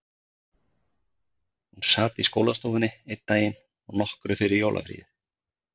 Hún sat í skólastofunni einn daginn, nokkru fyrir jólafríið.